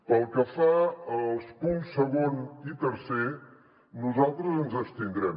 pel que fa als punts segon i tercer nosaltres ens abstindrem